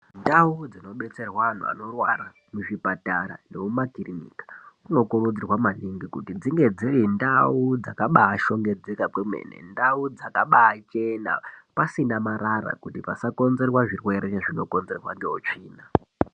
Ndau dzinobetserwa antu anorwara muzvipatara nemumakirinika munokurudzirwa maningi kuti dzinge dzirindau dzakabaashongedzeka kwemene, ndau dzakabaachena, pasina marara kuti pasakonzerwa zvirwere zvinokonzerwa ngeutsvina.